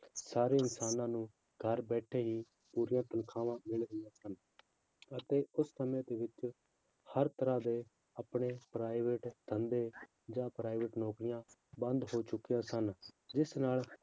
ਸਾਰੇ ਇਨਸਾਨਾਂ ਨੂੰ ਘਰ ਬੈਠੇ ਹੀ ਪੂਰੀਆਂ ਤਨਖਾਹਾਂ ਮਿਲ ਰਹੀਆਂ ਸਨ ਅਤੇ ਉਸ ਸਮੇਂ ਦੇ ਵਿੱਚ ਹਰ ਤਰ੍ਹਾਂ ਦੇ ਆਪਣੇ private ਧੰਦੇ ਜਾਂ private ਨੌਕਰੀਆਂ ਬੰਦ ਹੋ ਚੁੱਕੀਆਂ ਸਨ ਜਿਸ ਨਾਲ